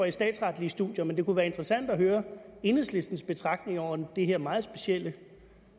i statsretlige studier men det kunne være interessant at høre enhedslistens betragtning om det her meget specielle